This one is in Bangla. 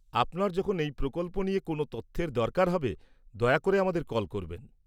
আপনার যখন এই প্রকল্প নিয়ে কোনও তথ্যের দরকার হবে, দয়া করে আমাদের কল করবেন।